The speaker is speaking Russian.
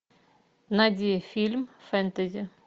найди фильм фэнтези